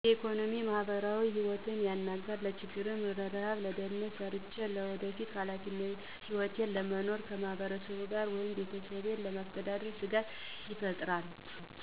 የኢኮኖሚ፣ ማህበራዊ ህይወት ያናጋል። ለችግር፣ ርሀብ ድህነት ሰርቸ የወደፊት ህይወቴን ለመኖር ከማህበረሰቡ ጋር ወይም ቤተሰብ ለማስተዳደር ስጋት ይፈጥራል።